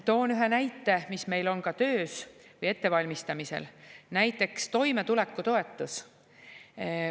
Toon ühe näite, mis meil on ka töös või ettevalmistamisel: toimetulekutoetus.